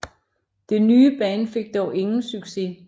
Det nye band fik dog ingen succes